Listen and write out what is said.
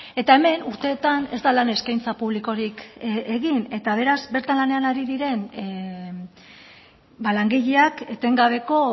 eta hemen urteetan ez da lan eskaintza publikorik egin eta beraz bertan lanean ari diren ba langileak etengabeko